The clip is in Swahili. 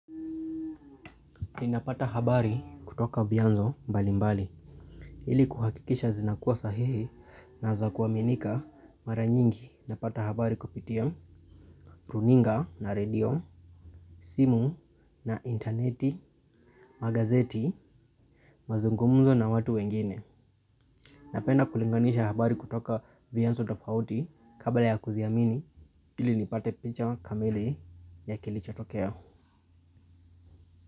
Ninapata habari kutoka vyanzo mbalimbali, ili kuhakikisha zinakuwa sahihi na za kuaminika, mara nyingi napata habari kupitia runinga na redio, simu na intaneti, magazeti, mazungumzo na watu wengine. Napenda kulinganisha habari kutoka vyanzo tofauti kabla ya kuziamini, ili nipate picha kamili ya kilichotokea.